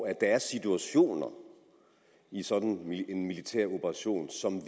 at der er situationer i sådan en militær operation som